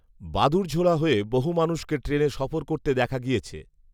বাদুড়ঝোলা হয়ে বহু মানুষকে ট্রেনে সফর করতে দেখা গিয়েছে